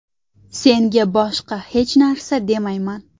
Senga boshqa hech narsa demayman.